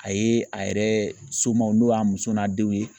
A ye a yɛrɛ somaaw n'o y'a muso n'a denw ye